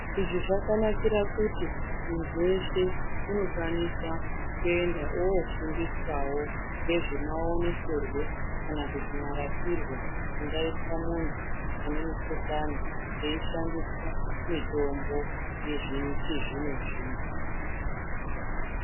Izvi zvakanakira kuti munhu weshe unokwanisa kuenda oofundiswawo nezve maonekerwe kana kuti marapirwo angaitwa munhu anemugudhlani kweishandiswa mitombo yechizvino zvino.